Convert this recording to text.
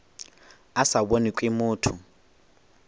a sa bonwe ke motho